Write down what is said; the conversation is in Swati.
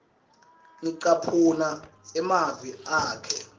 ngicaphuna emavi akhe